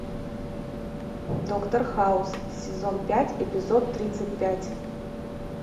доктор хаус сезон пять эпизод тридцать пять